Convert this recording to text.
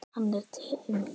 Hann er Tindur.